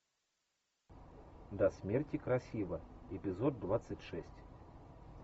до смерти красива эпизод двадцать шесть